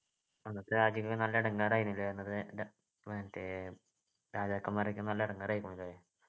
അന്നൊക്കെ നാട്ടുരാജ്യങ്ങൾ നല്ല ഇടങ്ങാറായിനല്ലേ മറ്റേ രാജാക്കന്മാരൊക്കെ നല്ല ഇടങ്ങാറായിരുന്നല്ലേ